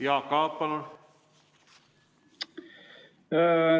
Jaak Aab, palun!